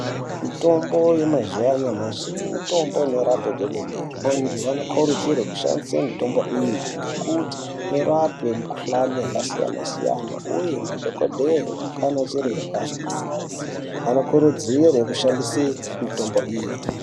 Mitombo yemazuwa anyamashi mitombo inorape kwemene. Antu anokurudzirwe kushandise mitombo iyi ngekuti, inorape mikhuhlani yakasiyana-siyana uye ,madhokodheye anachiremba anokurudzire kushandise mitombo iyi.